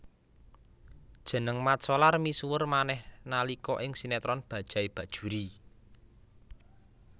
Jeneng Mat Solar misuwur manéh nalika ing sinetron Bajaj Bajuri